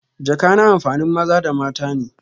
jaka na amfanin maza da mata ne.